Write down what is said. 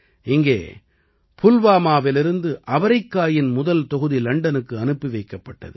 இங்கே புல்வாமாவிலிருந்து அவரைக்காயின் முதல் தொகுதி லண்டனுக்கு அனுப்பி வைக்கப்பட்டது